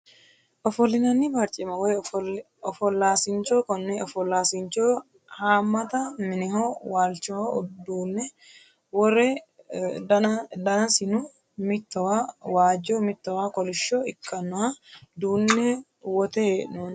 Ofolinani barcima woyi ofolaasincho kone ofolasincho haamata mineho waalchoho duune wore danasino mitowa waajo mitowa kulisho ikanoha duune wote heenoni.